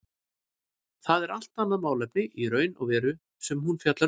Það er allt annað málefni í raun og veru sem hún fjallar um.